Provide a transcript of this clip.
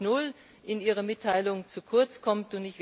4.0 in Ihrer Mitteilung zu kurz kommt.